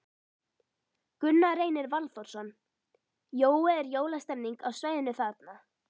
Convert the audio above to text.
Gunnar Reynir Valþórsson: Jói, er jólastemmning á svæðinu þarna?